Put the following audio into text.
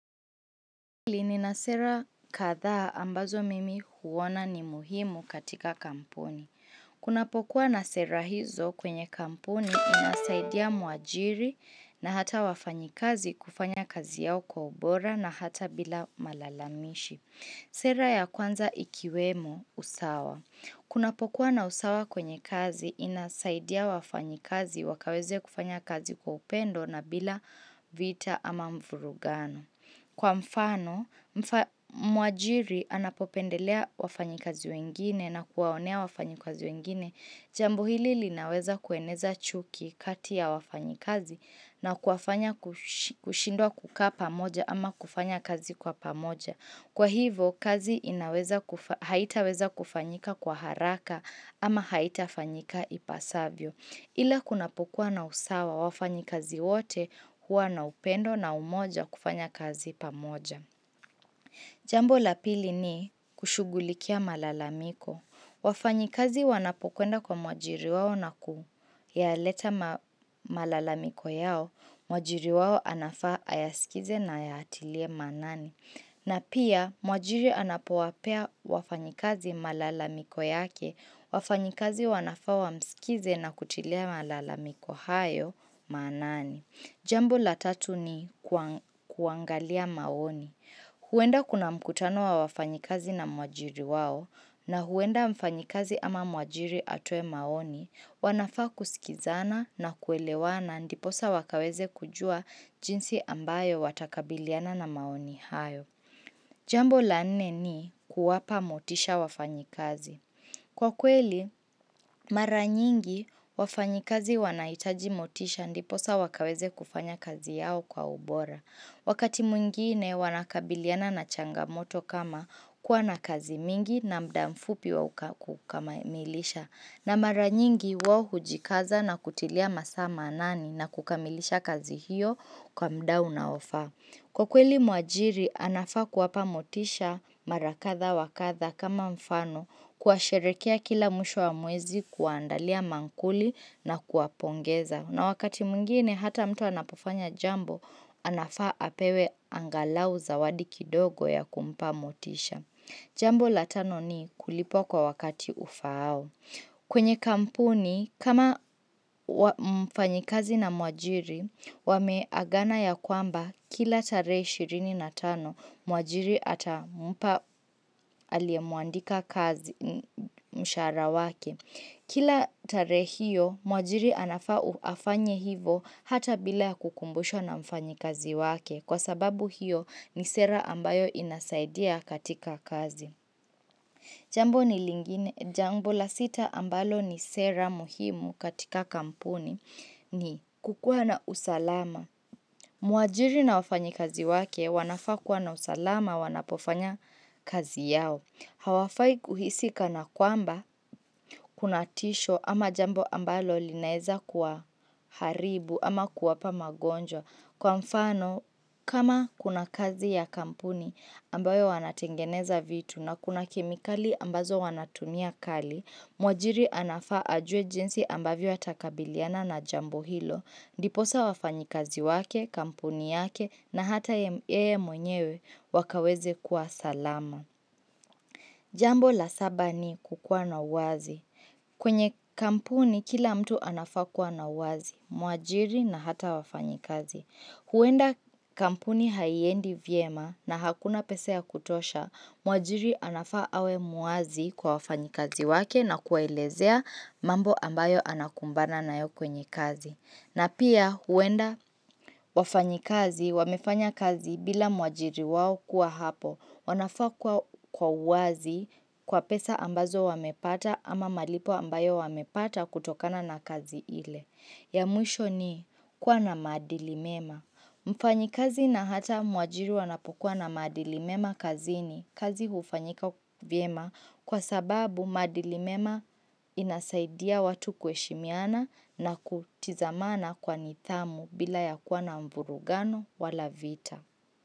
Mimi ni na sera kadhaa ambazo mimi huona ni muhimu katika kampuni. Kuna pokuwa na sera hizo kwenye kampuni zinasaidia muajiri na hata wafanyikazi kufanya kazi yao kwa ubora na hata bila malalamishi. Sera ya kwanza ikiwemo usawa. Kunapokuwa na usawa kwenye kazi inasaidia wafanyikazi wakaweze kufanya kazi kwa upendo na bila vita ama muvurugano. Kwa mfano, mwajiri anapopendelea wafanyi kazi wengine na kuwaonea wafanyi kazi wengine, jambo hili linaweza kueneza chuki kati ya wafanyikazi na kuwafanya kushindwa kukaa pamoja ama kufanya kazi kwa pamoja. Kwa hivyo, kazi haitaweza kufanyika kwa haraka ama haitafanyika ipasavyo. Ila kunapokua na usawa, wafanyi kazi wote hua na upendo na umoja kufanya kazi pamoja. Jambo la pili ni kushughulikia malalamiko. Wafanyikazi wanapokenda kwa mwajiri wawo na kuyaleta malalamiko yao, mwajiri wao anafaa ayaskize na ayatilie maanani. Na pia mwajiri anapowapea wafanyikazi malala miko yake, wafanyikazi wanafaa wamsikize na kutilia malalamiko hayo maanani. Jambo la tatu ni kuangalia maoni. Huenda kuna mkutano wa wafanyikazi na mwajiri wao na huenda mfanyikazi ama mwajiri atoe maoni wanafaa kusikizana na kuelewana ndiposa wakaweze kujua jinsi ambayo watakabiliana na maoni hayo. Jambo la nne ni kuwapa motisha wafanyikazi. Kwa kweli, mara nyingi wafanyikazi wanahitaji motisha ndiposa wakaweze kufanya kazi yao kwa ubora. Wakati mwingine wanakabiliana na changamoto kama kuwa na kazi mingi na muda mfupi wa kukamilisha na mara nyingi wao hujikaza na kutilia masaa maanani na kukamilisha kazi hiyo kwa muda unaofa. Kwa kweli mwajiri, anafaa kuwapa motisha marakadha wakadha kama mfano kuwasherehekea kila mwisho wa mwezi kuwaandalia mankuli na kuwapongeza. Na wakati mwingine, hata mtu anapofanya jambo, anafaa apewe angalau zawadi kidogo ya kumpa motisha. Jambo la tano ni kulipwa kwa wakati ufaao. Kwenye kampuni, kama mfanyikazi na mwajiri, wame agana ya kwamba kila tare 25 mwajiri ata mpa aliyemwandika kazi mshahara wake. Kila tarehe hiyo, mwajiri anafaa afanye hivyo hata bila kukumbushwa na mfanyikazi wake kwa sababu hiyo ni sera ambayo inasaidia katika kazi. Jambo ni lingine. Jambo la sita ambalo ni sera muhimu katika kampuni ni kukua na usalama. Muajiri na wafanyikazi wake wanafaa kuwa na usalama wanapofanya kazi yao. Hawafai kuhisi kana kwamba kunatisho ama jambo ambalo linaeza kuwaharibu ama kuwapa magonjwa. Kwa mfano, kama kuna kazi ya kampuni ambayo wanatengeneza vitu na kuna kemikali ambazo wanatumia kali, mwajiri anafaa ajue jinsi ambavyo atakabiliana na jambo hilo. Diposa wafanyikazi wake, kampuni yake na hata yeye mwenyewe wakaweze kuwa salama. Jambo la saba ni kukua na uwazi. Kwenye kampuni kila mtu anafaa kuwa na uwazi, mwajiri na hata wafanyikazi. Huenda kampuni haiendi vyema na hakuna pesa ya kutosha, muajiri anafaa awe muazi kwa wafanyikazi wake na kuwaelezea mambo ambayo anakumbana nayo kwenye kazi. Na pia huenda wafanyikazi wamefanya kazi bila mwajiri wao kuwa hapo wanafaa kwa uwazi kwa pesa ambazo wamepata ama malipo ambayo wamepata kutokana na kazi ile. Ya mwisho ni kuwa na maadili mema. Mfanyikazi na hata mwajiri wanapokuwa na maadili mema kazini kazi hufanyika vyema kwa sababu maadili mema inasaidia watu kuheshimiana na kutizamana kwa nidhamu bila ya kuwa na mvurugano wala vita.